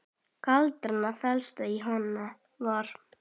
Gildran felst í Hann var.